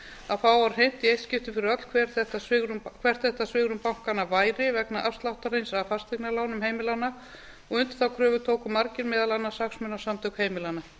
að fá á hreint í eitt skipti fyrir öll hvert þetta svigrúm bankanna væri vegna afsláttarins af fasteignalánum heimilanna og undir þá kröfu tóku margir meðal annars hagsmunasamtök heimilanna